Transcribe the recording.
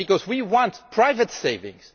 Well, because we want private savings.